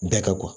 Bɛɛ ka